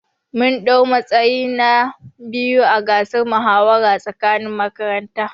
Mun dau matsayi na biyu ã gasar muhawara tsakanin makaranta.